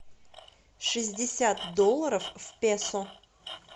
шестьдесят долларов в песо